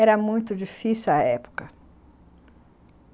Era muito difícil à época.